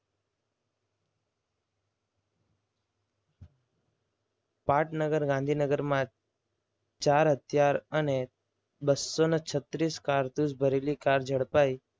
પાટનગર ગાંધીનગરમાં ચાર હથિયાર અને બસોને છત્રીસ કારતુસ ભરેલી કાર ઝડપાઈ.